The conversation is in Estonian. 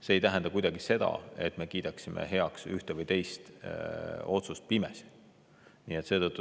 See ei tähenda kuidagi seda, et me kiidame ühe või teise otsuse pimesi heaks.